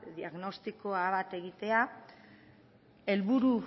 diagnostiko bat egitea helburu